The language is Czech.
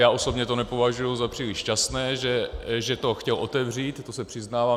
Já osobně to nepovažuji za příliš šťastné, že to chtěl otevřít, to se přiznávám.